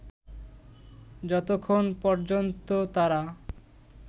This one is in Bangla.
যতক্ষণ পর্যন্ত তারা